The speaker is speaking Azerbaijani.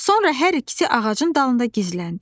Sonra hər ikisi ağacın dalında gizləndi.